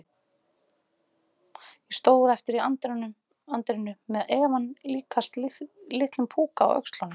Ég stóð eftir í anddyrinu- með efann líkastan litlum púka á öxlunum.